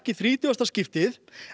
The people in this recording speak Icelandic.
þrítugasta skipti